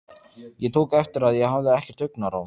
Ég tók eftir að ég hafði ekkert augnaráð.